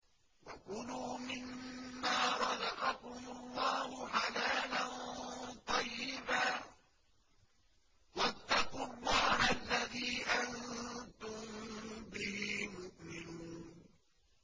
وَكُلُوا مِمَّا رَزَقَكُمُ اللَّهُ حَلَالًا طَيِّبًا ۚ وَاتَّقُوا اللَّهَ الَّذِي أَنتُم بِهِ مُؤْمِنُونَ